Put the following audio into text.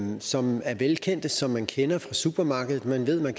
som er velkendte som man kender fra supermarkedet man ved at man